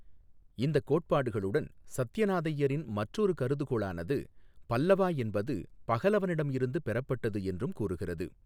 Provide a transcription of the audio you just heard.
இந்த கோட்பாடுகளுடன் சத்யநாதையரின் மற்றொரு கருதுகோளானது, "பல்லவா" என்பது பஹலவனிடமிருந்து பெறப்பட்டது என்றும் கூறுகிறது.